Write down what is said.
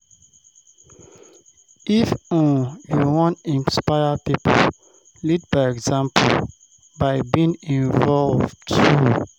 If um you wan inspire pipo, lead by example by being involved too